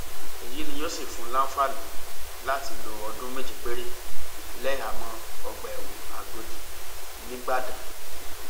èyí ni yóò sì fún un láǹfààní láti lo ọdún méje péré lẹhàámọ ọgbà ẹwọn àgòdì nígbàdàn